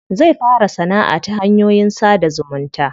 Zai fara sanaʼa ta hanyoyin sada zumunta.